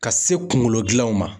Ka se kunkolo gilanw ma